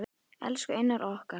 Elsku Einar okkar.